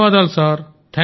ధన్యవాదాలు సార్